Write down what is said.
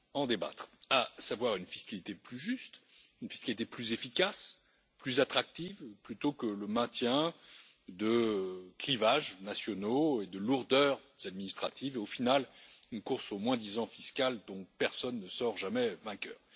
débattre, à savoir une fiscalité plus juste, une fiscalité plus efficace, plus attractive, plutôt que le maintien de clivages nationaux et de lourdeurs administratives et au final une course au moins disant fiscal, dont personne ne sort jamais vainqueur.